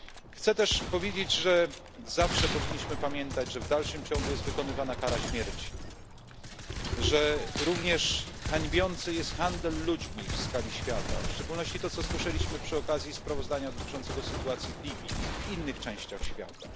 Chcę też powiedzieć, że zawsze powinniśmy pamiętać, że w dalszym ciągu jest wykonywana kara śmierci, że również hańbiący jest handel ludźmi w skali świata, w szczególności to, co słyszeliśmy przy okazji sprawozdania dotyczącego sytuacji w Libii, w innych częściach świata.